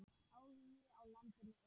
Áhugi á landinu eykst.